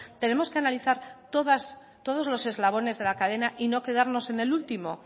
tenemos que analizar todos los eslabones de la cadena y no quedarnos en el último